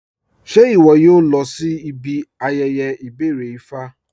Ṣẹ iwọ̀ yóò lọ̀ sí ibi ayẹyẹ ibẹ̀rẹ̀ Ifá?